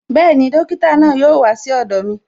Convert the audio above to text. Bẹẹni, dókítà náà yóò wá sí ọ̀dọ̀ mi